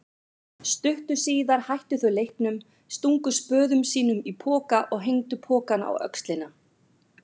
Stuttu síðar hættu þau leiknum, stungu spöðum sínum í poka og hengdu pokann á öxlina.